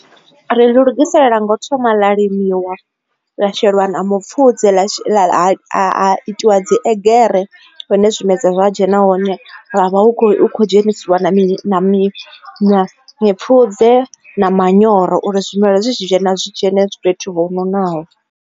Ri ḽi lugisela ngo thoma ḽa limiwa sheliwa mipfhudze a itiwa dzi egere hune zwimedzwa zwa dzhena hone ha vha hu khou kho dzhenisiwa mipfhudze na manyoro uri zwimela zwi tshi dzhena zwi dzhene fhethu ho nonaho.